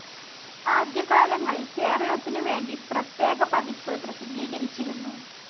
ആദ്യ കാലങ്ങളിൽ കേരളത്തിനുവേണ്ടി പ്രത്യേക പതിപ്പ് പ്രസിദ്ധീകരിച്ചിരുന്നു.